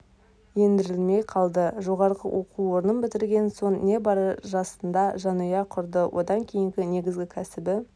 ендірілмей қалды жоғарғы оқу орнын бітірген соң небары жасында жанұя құрады одан кейінгі негізгі кәсіби